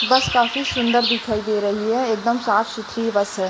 बस काफी सुन्दर दिखाई दे रही है एक दम साफ सुथरी बस है।